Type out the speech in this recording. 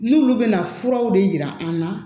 N'olu bɛna furaw de yira an na